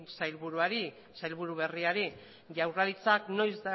sailburuari sailburu berriari jaurlaritzak noiz